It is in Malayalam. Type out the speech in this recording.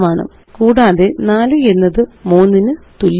കൂടാതെ 4 എന്നത്3 ന് തുല്യമല്ല